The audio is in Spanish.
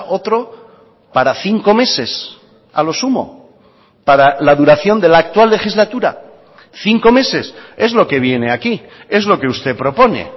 otro para cinco meses a lo sumo para la duración de la actual legislatura cinco meses es lo que viene aquí es lo que usted propone